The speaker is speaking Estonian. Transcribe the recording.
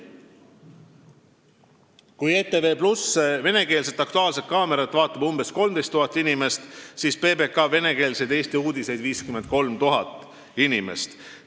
Kui ETV+ venekeelset "Aktuaalset kaamerat" vaatab umbes 13 000 inimest, siis PBK venekeelseid Eesti uudiseid 53 000 inimest.